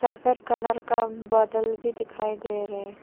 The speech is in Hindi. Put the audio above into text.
सफेद कलर का बदला भी दिखाई दे रहे --